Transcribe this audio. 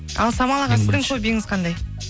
ал самал аға сіздің хоббиіңіз қандай